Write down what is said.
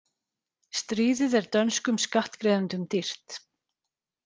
Stríðið er dönskum skattgreiðendum dýrt